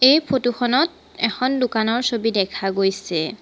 এই ফটো খনত এখন দোকানৰ ছবি দেখা গৈছে।